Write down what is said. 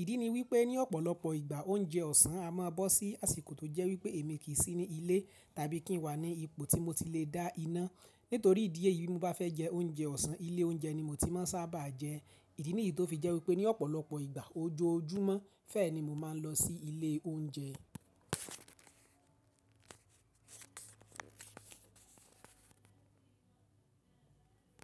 Ìdí ni wípé ní ọ̀pọ̀lọpọ ìgbà oúnjẹ ọ̀sán a máa bọ́ sí àsìkò tó jẹ́ wípé èmi kì í sí ní ilé tàbí kí n wà ní ipò tí mo ti le dá iná. Nítorí ìdí èyí bí mo bá fẹ́ jẹ oúnjẹ ọ̀sán, ilé oúnjẹ ni mo ti máa sábà jẹ. Ìdí nìyí tó fi jẹ́ wípé ní ọ̀pọ̀lọpọ̀ ìgbà ojoojúmọ́ fẹ́ẹ̀ní mo ma n lọ sí ilé oúnjẹ.